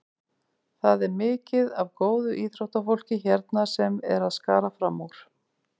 Það er mikið af góðu íþróttafólki hérna sem er að skara fram úr.